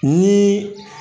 Nii